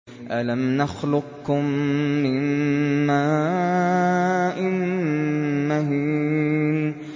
أَلَمْ نَخْلُقكُّم مِّن مَّاءٍ مَّهِينٍ